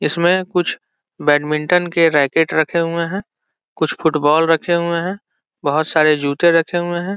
इसमें कुछ बेडमिन्टन के रैकेट रखे हुए हैं कुछ फुटबॉल रखे हुए हैं बहुत सारे जूते रखे हुए हैं।